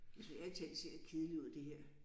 Jeg synes ærlig talt det ser lidt kedeligt ud det her